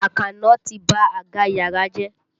Àkànó ti ba àga yàrá jẹ́.